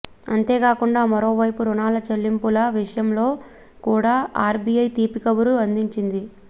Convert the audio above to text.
అంతేకాకుండా మరో వైపు రుణాల చెల్లింపుల విషయంలో కూడా ఆర్బీఐ తీపి కబురు అందించింది